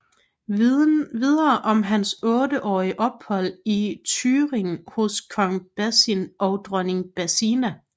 Videre om hans otteårige ophold i Thüringen hos kong Basin og dronning Basina